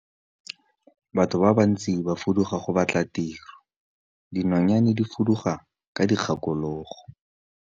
Batho ba bantsi ba fuduga go batla tiro, dinonyane di fuduga ka dikgakologo.